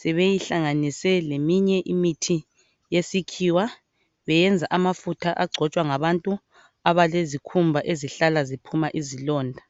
sebeyihlanganise leminye imithi yesikhiwa beyenza amafutha agcotshwa ngabantu abelezikhumba ezihlala ziphuma izilonda .